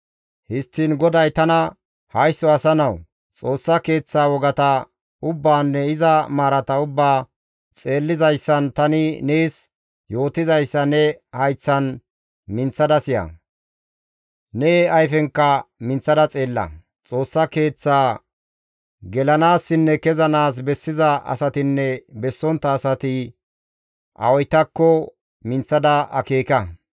Histtiin GODAY tana, «Haysso asa nawu, Xoossa Keeththa wogata ubbaanne iza maarata ubbaa xeellizayssan tani nees yootizayssa ne hayththan minththada siya; ne ayfenka minththada xeella. Xoossa Keeththa gelanaassinne kezanaas bessiza asatinne bessontta asati awaytakko minththada akeeka.